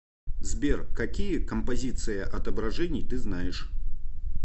сбер какие композиция отображений ты знаешь